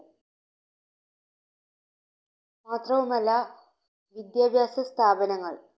മാത്രവുമല്ല വിദ്യാഭ്യാസ സ്ഥാപനങ്ങൾ